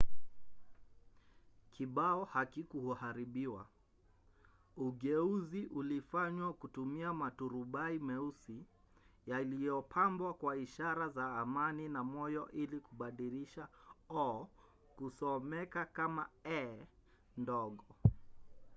kibao hakikuharibiwa; ugeuzi ulifanywa kutumia maturubai meusi yaliyopambwa kwa ishara za amani na moyo ili kubadilisha o” kusomeka kama e” ndogo